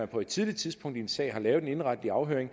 på et tidligt tidspunkt i en sag har lavet en indenretlig afhøring